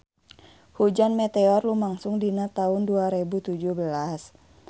Hujan meteor lumangsung dina taun dua rebu tujuh belas